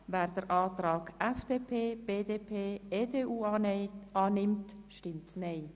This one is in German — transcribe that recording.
Wer den Antrag von FDP, BDP und EDU annimmt, stimmt Nein.